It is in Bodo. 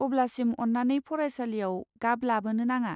अब्लासिम, अन्नानै फरायसालियाव गाब लाबोनो नाङा।